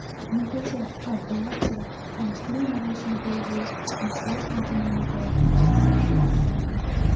Bungacha Arveladze tanishtiruv marosimidagi matbuot anjumanida ishtirok etgandi.